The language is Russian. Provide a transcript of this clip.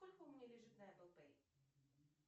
сколько у меня лежит на эпл пэй